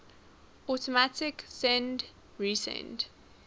automatic send receive